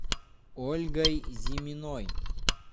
ольгой зиминой